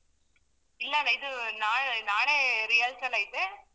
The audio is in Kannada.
ಇಲ್ಲಾ ಇದು ನಾ~ ನಾಳೆ rehearsal ಐತೆ.